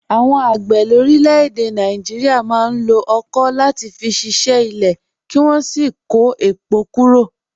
Àwọn àgbẹ̀ lórílẹ̀-èdè Nàìjíríà máa ń lo ọ̀kọ̀ láti fi ṣiṣẹ́ ilẹ̀, kí wọ́n sì kó èpò kúrò.